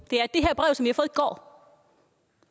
og